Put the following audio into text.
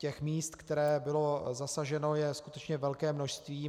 Těch míst, která byla zasažena, je skutečně velké množství.